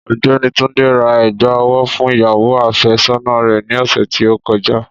Ọ̀gbẹ́ni Túndé ra ègbà ọwọ́ fún ìyàwó afé sọ́nà rè ni ọ̀sẹ̀ tí ó kọjá.